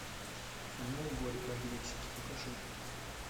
кино горько в мексике покажи